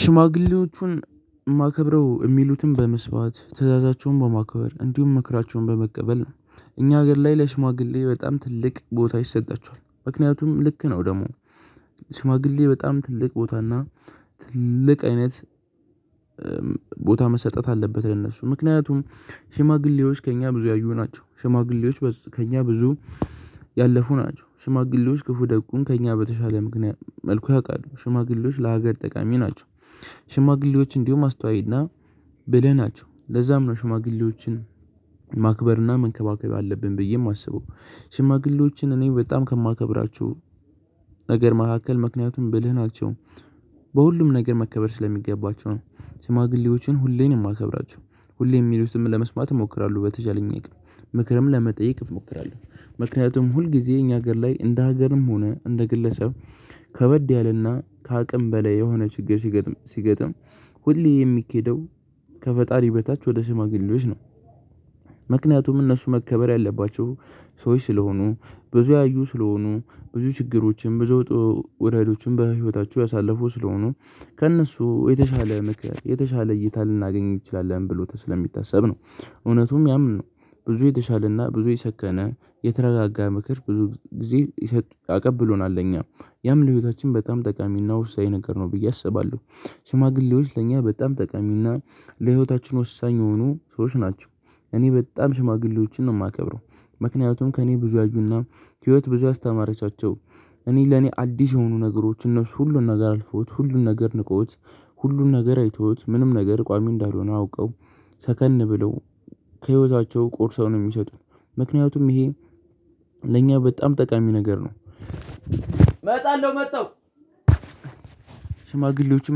ሽማግሌዎቹን እማከብረው እሚሉትን በመስማት ትዕዛዛቸውን በማከበር እንዲሁም ምክራቸውን በመቀበል ነው እኛ ሀገር ላይ ለሽማግሌ በጣም ትልቅ ቦታ ይሰጣቸዋል። ምክንያቱም ልክ ነው ደግሞ ሽማግሌ በጣም ትልቅ ቦታና ትልቅ አይነት ቦታ መሰጠት አለበት። ለነሱ ምክንያቱም ሽማግሌዎች ከእኛ ብዙ ያዩ ናቸው። ሽማግሌዎች ከእኛ ብዙ ያለፉ ናቸው። ሽማግሌዎች ክፉ ደጉን ከእኛ በተሻለ መልኩ ያውቃሉ። ሽማግሌዎች ለሀገር ጠቃሚ ናቸው። ሽማግሌዎች እንዲሁም አስተዋይና ብለህ ናቸው ለዛም ነው ሽማግሌዎችን ማክበርና መንከባከብ አለብን። ብዬ እማስበው ሽማግሌዎችን እኔ በጣም ከማከብራችው ነገር መካከል ምክንያቱም ብልህ ናቸው። በሁሉም ነገር መከበር ስለሚገባቸው ነው። ሽማግሌዎችን ሁሌ ነው እሜከብራችው ሁሌም እሚሉትን ለመስማት እሞክራለሁ በተቻለኝ አይቅም ምክርም ለመጠየቅ እሞክራለሁ። ምክንያቱም ሁል ጊዜ እኛ ሀገር ላይ እንደ ሀገርም ሆነ እንደ ግለሰብ ከበድ ያለና ከአቅም በላይ የሆነ ችግር ሲገጥም ሁሌ የሚኬደው ከፈጣሪ በታች ወደ ሽማግሌዎች ነው። ምክንያቱም እነሱ መከበር ያለባቸው ሰዎች ስለሆኑ ብዙ ያዩ ስለሆኑ ብዙ ችግሮችም ብዙ ወጣውረዶችን በህይወታችው ያሳለፉ ስለሆኑ ከእነሱ የተሻለ ምክር የተሻለ እይታ ልናገኝ እንችላለን ብሎ ተስፋ የሚታሰብ ነው። እውነቱም ያም ነው። ብዙ የተሻለና ብዙ የሰከነ የተረጋጋ ምክር ብዙ ጊዜ ያቀብሎናል እኛ ያም ለህይወታችን በጣም ጠቃሚና ውሳኝ ነገር ነው ብዬ አስባለሁ። ሽማግሌዎች ለእኛ በጣም ጠቃሚና ለህይወታችን ወሳኝ የሆኑ ሰዎች ናቸው። እኔ በጣም ሽማግሌዎችን ነው እማከብረው። ምክንያቱም ከእኔ ብዙ ያዩና ህይወት ብዙ ያስተማረቻቸው እኔ ለኔ አዲስ የሆኑ ነገሮች እነሱ ሁሉን ነገር አልፈውት ሁሉን ነገር ንቀውት። ሁሉን ነገር አይተውት ምንም ነገር ቋሚ እንዳልሆነ አውቀው ሰከን ብለው ከህይወታቸው ቆርሰው ነው እሚሰጡት። ምክንያቱም ይሄ ለእኛ በጣም ጠቃሚ ነገር ነው። ሽማግሌዎችን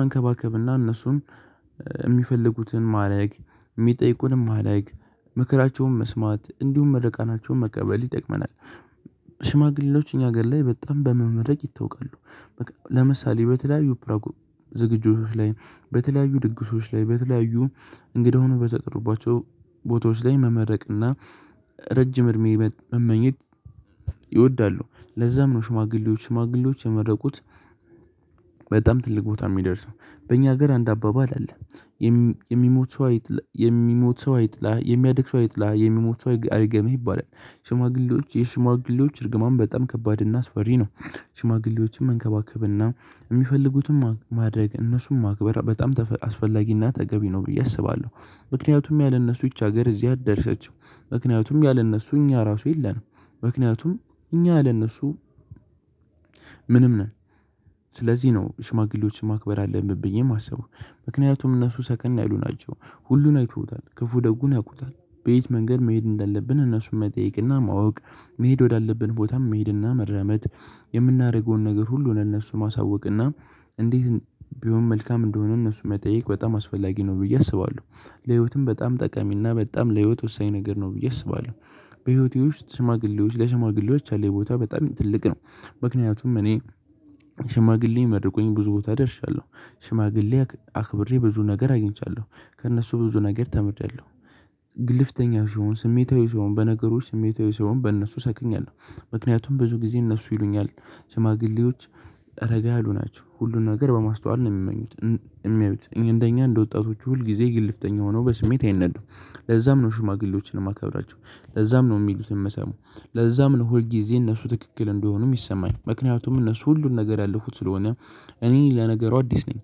መንከባከብና እነሱን የሚፈልጉትን ማረግ እሚጠይቁንን ማረግ ምክራቸውን መስማት እንዲሁም ምረቃቸውን መቀበል ይጠቅመናል። ሽማግሌዎች እኛ ሀገር ላይ በጣም በመመረቅ ይታወቃሉ ለምሳሌ በተለያዩ ዝግጅቶች ላይ በተለያዩ ድግሶች ላይ በተለያዩ እንግዳ ሁነዎ በተጠሩባቸው ቦታዎች ላይ መመረቅና ረጅም እድሜ መመኘት ይወዳሉ። ለዛም ነው ሽማግሌዎች ሽማግሌዎች የመረቁት በጣም ትልቅ ቦታ እሚደርሰው በእኛ ሀገር አንድ አባባል አለ። የሚሞት ሰው አይጥላ የሚሞት ሰው አይጥላህ የሚያድግ ሰው አይጥላ የሚሞት ሰው አይርገመህ ይባላል። ሽማግሌዎች የሽማግሌዎች እርግማን በጣም ከባድ እና አስፈሪ ነው። ሽማግሌዎችን መንከባከብና እሚፈልጉትን ማድረግ እነሱን ማክበር በጣም አስፈላጊና ተገቢ ነው ብዬ አስባለሁ። ምክንያቱም ያለ እነሱ ይቺ ሀገር እዚህ አልደረሰችም። ምክንያቱም ያለ እነሱ እኛ ራሱ የለንም። ምክንያቱም እኛ ያለ እነሱ ምንም ነን። ስለዚህ ነው ሽማግሌዎችን ማክበር አለብን ብዬ እማሰበው። ምክንያቱም እነሱ ሰከን ያሉ ናቸው ሁሉን አይተውታል ክፉ ደጉን ያውቁታል። በየት መንገድ መሄድ እንዳለብን እነሱን መጠየቅና ማወቅ መሄድ ወዳለብን ቦታም መሄድና መራመድ። የምናደርገውን ነገር ሁሉ ነው ለእነሱ ማሳወቅ እና እንዴት ቢሆን መልካም እንደሆነ እነሱን መጠየቅ በጣም አስፈላጊ ነው ብዬ አስባለሁ። ለህይወትም በጣም ጠቀሚና በጣም ለህይወት ወሳኝ ነገር ነው ብዬ አስባለሁ። በህይወቴ ውስጥ ሽማግሌዎች ለሽማግሌዎች ያለኝ ቦታ በጣም ትልቅ ነው። ምክንያቱም እኔ ሽማግሌ የመረቁኝ ብዙ ቦታ ደርሻለሁ። ሽማግሌ አክብሬ ብዙ ነገር አግኝቻለሁ። ከእነሱ ብዙ ነገር ተምሪአለሁ። ግልፍተኛው ስሆን ስሜታዊ ስሆን በነገሮች ስሜታዊ ስሆን በእነሱ ሰክኛለሁ። ምክንያቱም ብዙ ጊዜ እነሱ ይሉኛል ሽማግሌዎች ኧረጋ ያሉ ናቸው ሁሉን ነገር በማስተዋል ነው። እሚያዩት እንደኛ እንደ ወጣቶች ሁል ጊዜ ግልፍተኛ ሁነው በስሜት አይነዱም። ለዛም ነው ሽማግሌዎችን እማከብራቸው። ለዛም ነው እሚሉትን እምሰማው። ለዛም ነው ሁል ጊዜ እነሱ ትክክል እንደሆኑ እሚሰማኝ ምክንያቱም እነሱ ሁሉን ነገር ያለፉት ስለሆነ። እኔ ለነገሩ አዲስ ነኝ።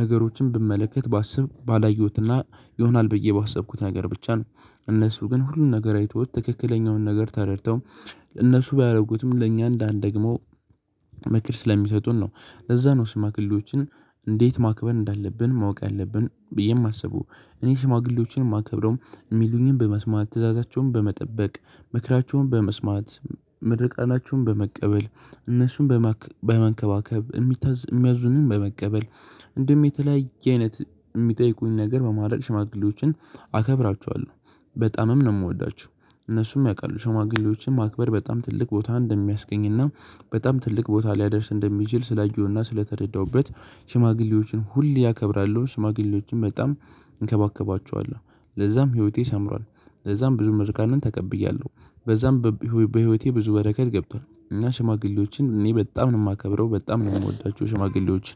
ነገሮችን ብመለከት ባስብ ባላየሁትና ይሆናል ብዬ ባሰብኩት ነገር ብቻ ነው። እነሱ ግን ሁሉን ነገር አይተውት ትክክለኛውን ነገር ተረድተው እነሱ ባያደርጉትም ለእኛ እንዳንደግመው ምክር ስለሚሰጡን ነው። ለዛ ነው ሽማግሌዎችን እንዴት ማክበር እንዳለብን ማወቅ አለብን ብዬ የማስበው እኔ ሽማግሌዎችን እማከብረው። እሚሉኝን በመስማት ትዕዛዛቸውን በመጠበቅ ምክራቸውን በመስማት ምርቃናቸውን በመቀበል እነሱን በመንከባከብ እሚያዝዙንን በመቀበል እንዲሁም የተለያየ አይነት እሚጠይቁንን ነገር በማረግ ሽማግሌዎችን አከብራቸዋለሁ። በጣምም ነው እምወዳቸው። እነሱም ያውቃሉ ሸማግሌዎችን ማክበር በጣም ትልቅ ቦታ እንደሚያስገኝና በጣም ትልቅ ቦታ ሊያደርስ እንደሚችል ስላየሁና ስለተረዳሁበት። ሽማግሌዎችን ሁሌ አከብራለው ሽማግሌዎችን በጣም እንከባከባቸዋለው ለዛም ህይወቴ ሰምሯል። ለዛም ብዙ መርቃንን ተቀብያለሁ። በዛም በህይወቴ ብዙ በረከት ገብቷል። እና ሽማግሌዎችን እኔ በጣም ነው እማከብረው በጣም ነው እምወዳቸው ሽማግሌዎችን።